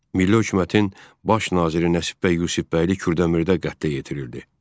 Milli hökumətin baş naziri Nəsib bəy Yusifbəyli Kürdəmirdə qətlə yetirilirdi.